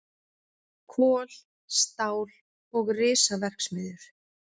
Kol, stál og risaverksmiðjur.